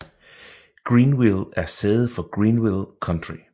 Greenville er sæde for Greenville County